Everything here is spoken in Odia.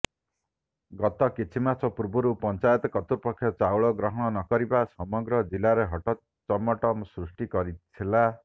ଗତ କିଛି ମାସ ପୂର୍ବରୁ ପଂଚାୟତ କର୍ତୃପକ୍ଷ ଚାଉଳ ଗ୍ରହଣ ନକରିବା ସମଗ୍ର ଜିଲ୍ଲାରେ ହଟଚମଟ ସୃଷ୍ଟି କରିଥିଲା